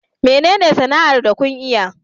Menene sana'ar da kun iya?